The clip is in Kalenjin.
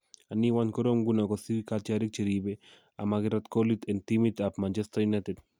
Anii, wany korom nguno kosir katyarik cheribe amakirat kolit en timit ab Man Utd?